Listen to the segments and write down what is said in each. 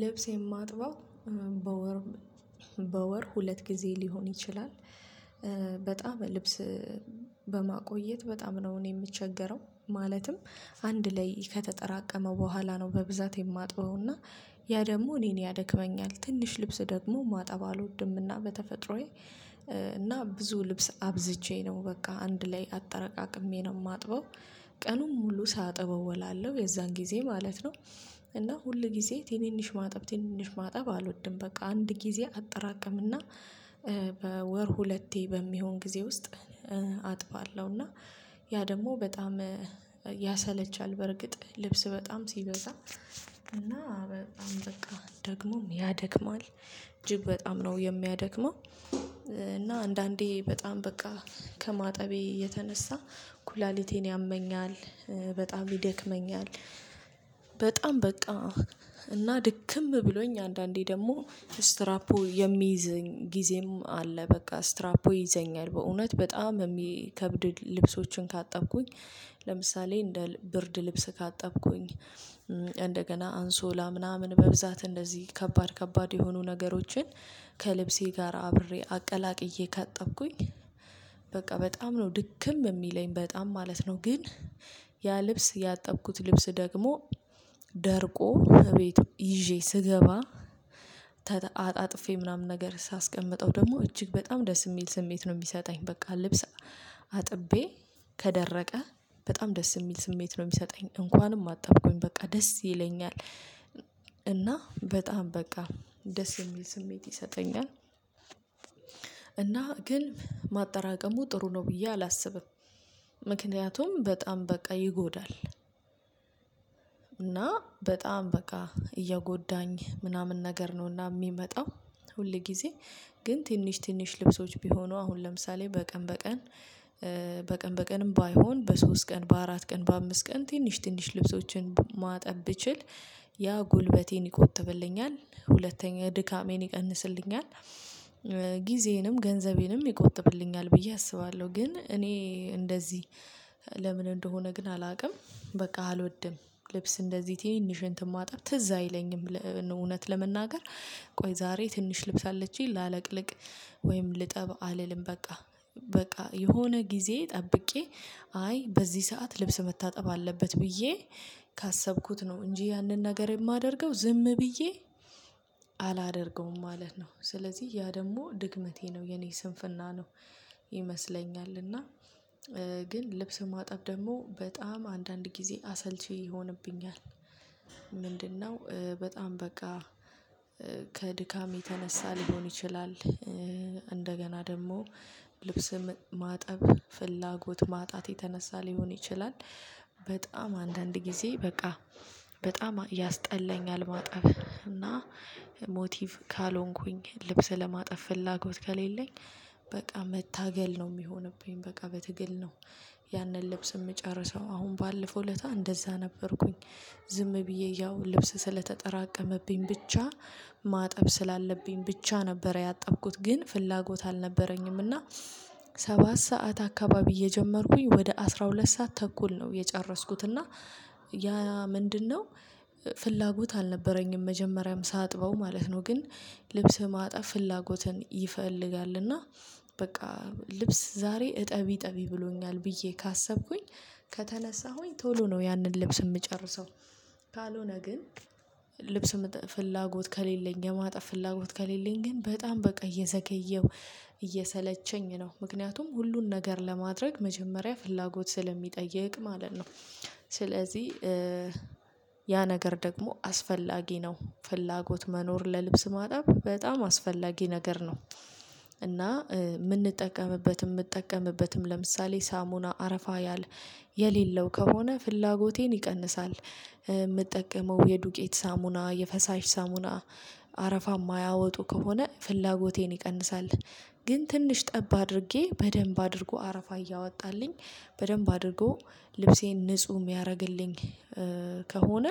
ልብስ የማጥባው በወር በወር ሁለት ጊዜ ሊሆን ይችላል። በጣም ልብስ በማቆየት በጣም ነው እኔ የምቸገረው ማለትም። አንድ ላይ ከተጠራቀመ በኋላ ነው። በብዛት የማጥበውና ያ ደግሞ እኔን ያደክመኛል። ትንሽ ልብስ ደግሞ ማጠብ አልወድምና በተፈጥሮዬ። እና ብዙ ልብስ አብዝቼ ነው በቃ አንድ ላይ አጠረቃቅሜ ነው የማጥበው። ቀኑን ሙሉ ሳጥብ እውላለሁ የዛን ጊዜ ማለት ነው። እና ሁል ጊዜ ትንንሽ ማጠብ ትንንሽ ማጠብ አልወድም በቃ አንድ ጊዜ አጠራቅምና። በወር ሁለቴ በሚሆን ጊዜ ውስጥ አጥባለሁ። እና ያ ደግሞ በጣም ያሰለቻል። በርግጥ ልብስ በጣም ሲበዛ እና በጣም በቃ ደግሞም ያደክማል እጅግ በጣም ነው የሚያደክመው። እና አንዳንዴ በጣም በቃ ከማጠቤ የተነሳ ኩላሊቴን ያመኛል። በጣም ይደክመኛል። በጣም በቃ እና ድክም ብሎኝ አንዳንዴ ደግሞ ስትራፖ የሚይዘኝ ጊዜም አለ። በቃ ስትራፖ ይዘኛል። በእውነት በጣም የሚከብድ ልብሶችን ካጠብኩኝ። ለምሳሌ እንደ ብርድ ልብስ ካጠብኩኝ እንደገና አንሶላ ምናምን በብዛት እንደዚህ ከባድ ከባድ የሆኑ ነገሮችን ከልብሴ ጋር አብሬ አቀላቅዬ ካጠብኩኝ። በቃ በጣም ነው ድክም የሚለኝ በጣም ማለት ነው። ግን ያ ልብስ ያጠብኩት ልብስ ደግሞ ደርቆ ከቤት ይዤ ስገባ። ተት አጣጥፌ ምናምን ነገር ሳስቀምጠው ደግሞ እጅግ በጣም ደስ የሚል ስሜት ነው የሚሰጠኝ። በቃ ልብስ አጥቤ ከደረቀ በጣም ደስ የሚል ስሜት ነው የሚሰጠኝ እንኳንም አጠብኩኝ በቃ ደስ ይለኛል። እና በጣም በቃ ደስ የሚል ስሜት ይሰጠኛል። እና ግን ማጠራቀሙ ጥሩ ነው ብዬ አላስብም። ምክንያቱም በጣም በቃ ይጎዳል። እና በጣም በቃ እየጎዳኝ ምናምን ነገር ነውና የሚመጣው። ሁል ጊዜ ግን ትንሽ ትንሽ ልብሶች ቢሆኑ አሁን ለምሳሌ በቀን በቀን በቀን በቀንም ባይሆን በሶስት ቀን በአራት ቀን በአምስት ቀን ትንሽ ትንሽ ልብሶችን ማጠብ ብችል ያ ጉልበቴን ይቆጥብልኛል ሁለተኛ ድካሜን ይቀንስልኛል። ጊዜዬንም ገንዘቤንም ይቆጥብልኛል ብዬ አስባለሁ። ግን እኔ እንደዚህ ለምን እንደሆነ ግን አላውቅም። በቃ አልወድም ልብስ እንደዚህ ትንሽ እንትን ማጠብ ትዝ አይለኝም። እውነት ለመናገር ቆይ ዛሬ ትንሽ ልብስ አለችኝ ላለቅልቅ። ወይም ልጠብ አልልም። በቃ በቃ የሆነ ጊዜ ጠብቄ አይ በዚህ ሰዓት ልብስ መታጠብ አለበት ብዬ ካሰብኩት ነው እንጂ ያንን ነገር የማደርገው ዝም ብዬ አላደርገውም ማለት ነው። ስለዚህ ያ ደግሞ ድክመቴ ነው የኔ ስንፍና ነው ይመስለኛል። እና ግን ልብስ ማጠብ ደግሞ በጣም አንዳንድ ጊዜ አሰልቺ ይሆንብኛል። ምንድነው? በጣም በቃ ከድካም የተነሳ ሊሆን ይችላል። እንደገና ደግሞ ልብስም ማጠብ ፍላጎት ማጣት የተነሳ ሊሆን ይችላል። በጣም አንዳንድ ጊዜ በቃ በጣም ያስጠላኛል። ማጠብ እና ሞቲቭ ካልሆንኩኝ ልብስ ለማጠብ ፍላጎት ከሌለኝ። በቃ መታገል ነው የሚሆንብኝ በቃ በትግል ነው። ያንን ልብስ የምጨርሰው አሁን ባለፈው እለታ እንደዛ ነበርኩኝ። ዝም ብዬ ያው ልብስ ስለተጠራቀመብኝ ብቻ ማጠብ ስላለብኝ ብቻ ነበረ ያጠብኩት ግን ፍላጎት አልነበረኝምና። ሰባት ሰዓት አካባቢ የጀመርኩኝ ወደ አስራ ሁለት ሰዓት ተኩል ነው የጨረስኩት። እና ያ ምንድነው? ፍላጎት አልነበረኝም መጀመሪያም ሳጥበው ማለት ነው። ግን ልብስ ማጠብ ፍላጎትን ይፈልጋልና። በቃ ልብስ ዛሬ እጠቢ እጠቢ ብሎኛል ብዬ ካሰብኩኝ ከተነሳሁኝ ቶሎ ነው ያንን ልብስ የምጨርሰው። ካልሆነ ግን ልብስ ምጠ ፍላጎት ከሌለኝ የማጠብ ፍላጎት ከሌለኝ ግን በጣም በቃ እየዘገየው እየሰለቸኝ ነው። ምክንያቱም ሁሉን ነገር ለማድረግ መጀመሪያ ፍላጎት ስለሚጠይቅ ማለት ነው። ስለዚህ ያ ነገር ደግሞ አስፈላጊ ነው ፍላጎት መኖር ለልብስ ማጠብ በጣም አስፈላጊ ነገር ነው። እና የምንጠቀምበትም የምጠቀምበትም ለምሳሌ ሳሙና አረፋ ያል የሌለው ከሆነ ፍላጎቴን ይቀንሳል። የምጠቀመው የዱቄት ሳሙና የፈሳሽ ሳሙና አረፋ የማያወጡ ከሆነ ፍላጎቴን ይቀንሳል። ግን ትንሽ ጠብ አድርጌ በደንብ አድርጎ አረፋ እያወጣልኝ በደንብ አድርጎ ልብሴን ንጹህ የሚያደርግልኝ። ከሆነ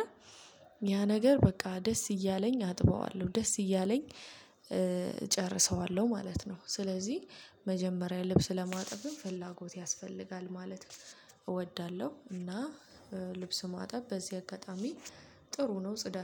ያ ነገር በቃ ደስ እያለኝ አጥበዋለሁ። ደስ እያለኝ እጨርሰዋለሁ ማለት ነው። ስለዚህ መጀመሪያ ልብስ ለማጠብም ፍላጎት ያስፈልጋል። ማለት እወዳለሁ። እና ልብስ ማጠብ በዚህ አጋጣሚ ጥሩ ነው። ጽዳት